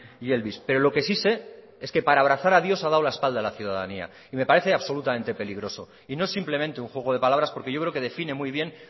y elvis pero lo que sí sé es que para abrazar a dios a dado la espalda a la ciudadanía y me parece absolutamente peligroso y no simplemente un juego de palabras porque yo creo que define muy bien